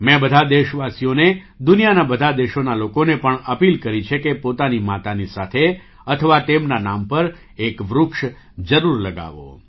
મેં બધા દેશવાસીઓને દુનિયાના બધા દેશોના લોકોને પણ અપીલ કરી છે કે પોતાની માતાની સાથે અથવા તેમના નામ પર એક વૃક્ષ જરૂર લગાવો